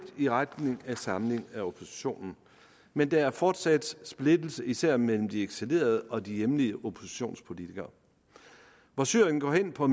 i retning af en samling af oppositionen men der er fortsat splittelse især mellem de eksilerede og de hjemlige oppositionspolitikere hvor syrien på